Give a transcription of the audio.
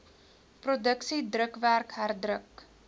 produksie drukwerk herdruk